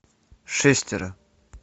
шестеро